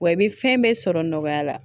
Wa i bɛ fɛn bɛɛ sɔrɔ nɔgɔya la